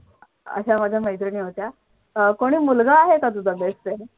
अशा माझ्या मैत्रिणी होत्या. अह कोणी मुलगा आहे का तुझा best friend? .